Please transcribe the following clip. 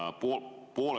Ta lükkub sinna edasi.